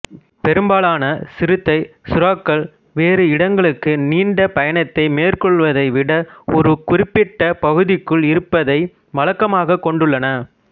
பெரும்பாலான சிறுத்தை சுறாக்கள் வேறு இடங்களுக்கு நீண்ட பயணத்தை மேற்கொள்வதை விட ஒரு குறிப்பிட்ட பகுதிக்குள் இருப்பதை வழக்கமாக கொண்டுள்ளன